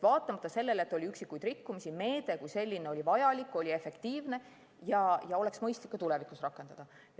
Vaatamata sellele, et oli üksikuid rikkumisi, oli meede kui selline vajalik, see oli efektiivne ja seda oleks mõistlik ka tulevikus rakendada.